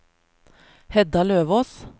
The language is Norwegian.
Hedda Løvås